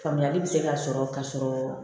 Faamuyali bɛ se ka sɔrɔ ka sɔrɔ